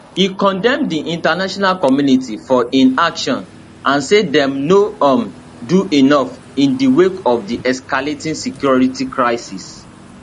e condemn di international community for inaction and say dem no um do enough in di wake of di escalating security crisis